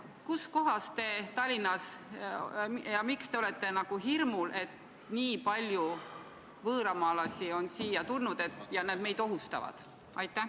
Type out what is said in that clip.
Kuskohas Tallinnas te seda näete ja miks te olete hirmul, et nii palju võõramaalasi on siia tulnud ja et nad meid ohustavad?